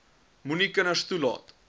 moenie kinders toelaat